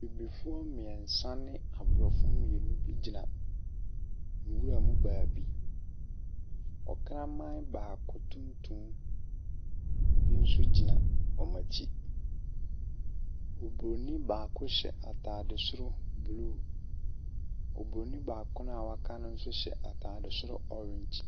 Abibifoɔ mmiɛnsa ne Borɔfoɔ mmienu gyina nwuram baabi. Ɔkraman baako tuntum nso gyina wɔn akyi. Obroni baako hyɛ ataade soro blue. Loburoni baako a waka no nso hyɛ ataade soro orange.